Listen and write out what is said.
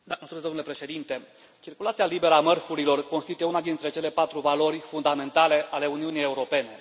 Domnule președinte, circulația liberă a mărfurilor constituie una dintre cele patru valori fundamentale ale Uniunii Europene.